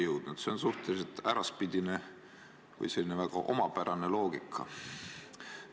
Siin võib täheldada suhteliselt äraspidist või väga omapärast loogikat.